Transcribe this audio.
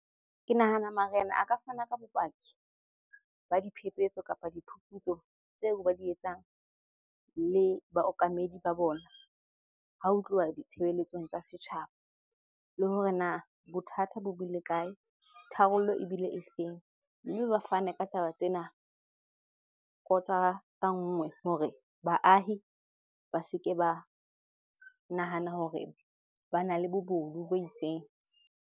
Ke nahana marena a ka fana ka bopaki ba diphephetso kapa diphuputso tseo ba di etsang le baokamedi ba bona ha ho tluwa ditshebeletsong tsa setjhaba. Le hore na bothata bo bile kae? Tharollo ebile efeng? Mme ba fane ka taba tsena kotara ka nngwe hore baahi ba se ke ba nahana hore bana le bobodu bo itseng.